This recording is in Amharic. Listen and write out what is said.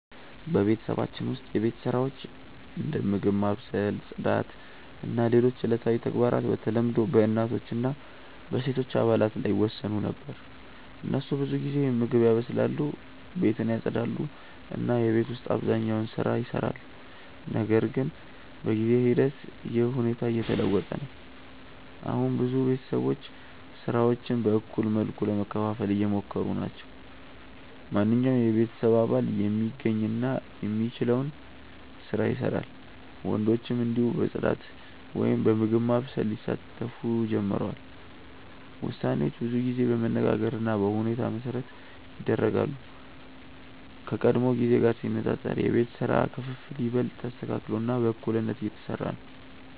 በቤተሰባችን ውስጥ የቤት ስራዎች እንደ ምግብ ማብሰል፣ ጽዳት እና ሌሎች ዕለታዊ ተግባራት በተለምዶ በእናቶች እና በሴቶች አባላት ላይ ይወሰኑ ነበር። እነሱ ብዙ ጊዜ ምግብ ያበስላሉ፣ ቤትን ያጽዳሉ እና የቤት ውስጥ አብዛኛውን ስራ ይሰራሉ። ነገር ግን በጊዜ ሂደት ይህ ሁኔታ እየተለወጠ ነው። አሁን ብዙ ቤተሰቦች ስራዎችን በእኩል መልኩ ለመከፋፈል እየሞከሩ ናቸው። ማንኛውም የቤተሰብ አባል የሚገኝ እና የሚችለውን ስራ ይሰራል፣ ወንዶችም እንዲሁ በጽዳት ወይም በምግብ ማብሰል ሊሳተፉ ጀምረዋል። ውሳኔዎች ብዙ ጊዜ በመነጋገር እና በሁኔታ መሠረት ይደረጋሉ፣ ከቀድሞ ጊዜ ጋር ሲነጻጸር የቤት ስራ ክፍፍል ይበልጥ ተስተካክሎ እና በእኩልነት እየተሰራ ነው።